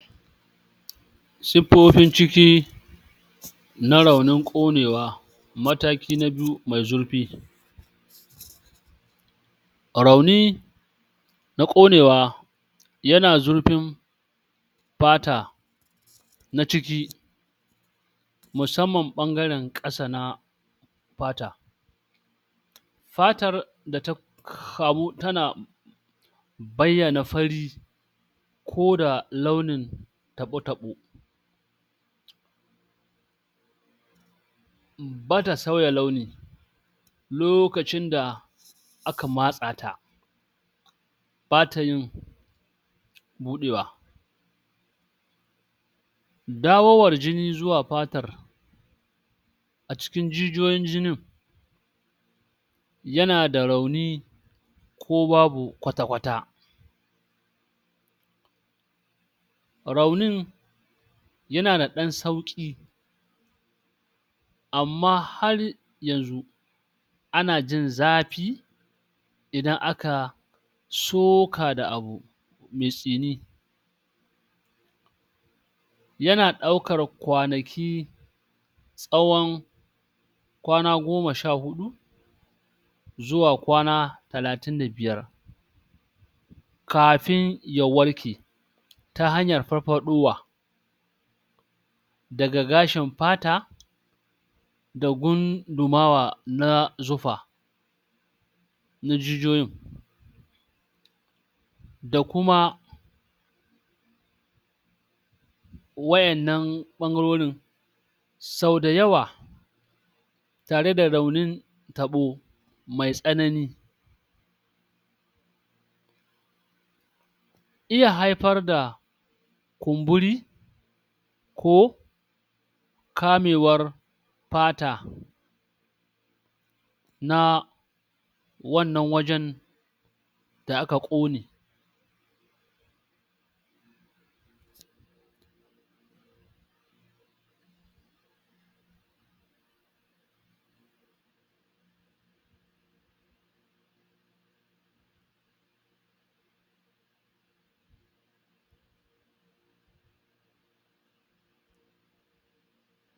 Siffofin ciki na raunin ƙonewa mataki na biyu mai zurfi. Rauni na ƙonewa ya na zurfin ɓata na ciki musamman ɓangaren ƙasa na fata. Fatar da ta kamu ta na bayyana fari koda launin taɓo-taɓo, ba ta sauya launi lokacin da aka matsa ta bata yin buɗewa. Dawowar jini zuwar fatar a cikin jijiyoyin jinin ya na da rauni ko babu kwata-kwata. Raunin ya na da ɗan sauƙi amma har yanzu ana jin zafi idan aka soka da abu mai tsini ya na daukar kwanaki tsawon kwana goma sha huɗu zuwa kwana talatin da biyar kafin ya warke ta hanyar farfaɗowa daga gashin fata da gundumawa na zufa na jijiyoyin da kuma waƴannan ɓangarorin. Sau da yawa tare da raunin taɓo mai tsanani iya haifar da kumburi ko kamewar fata na wannan wajen da aka ƙone.